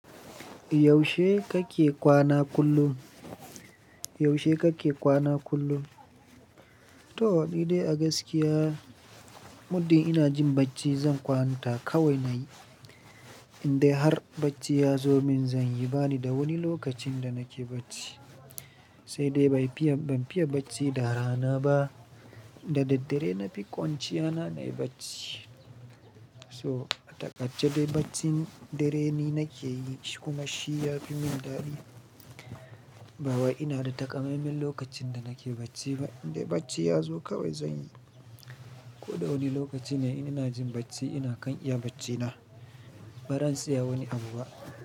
Yaushe kake kwana kullum? Yaushe kake kwana kullum? To, ni dai a gaskiya, muddin ina jin bacci zan kwanta kawai nayi. Indai har bacci ya zo min zan yi, bani da wani lokacin da nake bacci. Sai dai bai fiya, ban fiya bacci da rana ba. Da daddare na fi kwanciya na nayi bacci. So, a takaice baccin dare ni nake yi kuma shi ya fi min daɗi. Ba wai ina da takamaiman lokacin da nake bacci ba. Indai bacci ya zo kawai zan yi. Ko da wani lokaci ne ina jin bacci ina kan iya bacci na. Ba ran tsaya wani abu ba.